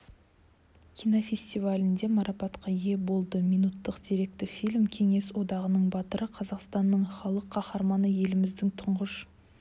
кинофестивалінде марапатқа ие болды минуттық деректі фильм кеңес одағының батыры қазақстанның халық қаһарманы еліміздің тұңғыш